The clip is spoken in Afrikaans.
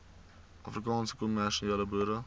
afrikaanse kommersiële boere